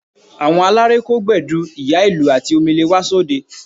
Àwọn aláré kó Gbẹ̀du, ìyá-ìlù àti Omele wá sóde